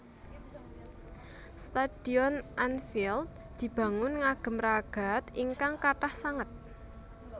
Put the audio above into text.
Stadion Anfield dibangun ngagem ragad ingkang kathah sanget